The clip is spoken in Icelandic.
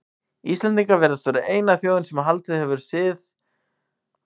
Íslendingar virðast vera eina þjóðin sem haldið hefur þessum sið allt fram á þennan dag.